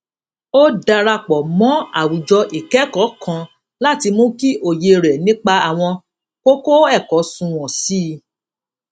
ó darapò mó àwùjọ ìkékòó kan láti mú kí òye rè nípa àwọn kókó èkó sunwòn sí i